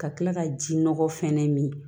Ka kila ka ji nɔgɔ fɛnɛ min